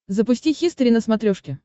запусти хистори на смотрешке